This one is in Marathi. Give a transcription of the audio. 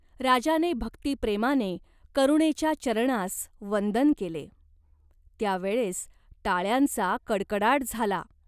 राजाने भक्तिप्रेमाने करुणेच्या चरणांस वंदन केले. त्या वेळेस टाळ्यांचा कडकडाट झाला.